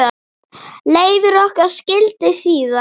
Leiðir okkar skildi síðan.